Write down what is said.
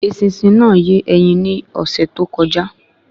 Eṣinṣin náà yé ẹyin ni ọsẹ too kọjá